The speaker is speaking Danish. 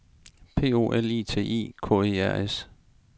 P O L I T I K E R S